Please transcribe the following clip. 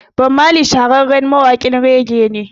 Bob Marley shahararren mawaƙin rege ne